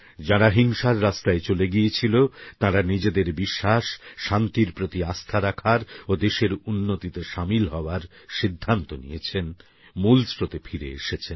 যাঁরা হিংসার রাস্তায় চলে গিয়েছিল তাঁরা নিজেদের বিশ্বাস শান্তির প্রতি আস্থা রাখার ও দেশের উন্নতিতে সামিল হওয়ার সিদ্ধান্ত নিয়েছেন মূল স্রোতে ফিরে এসেছেন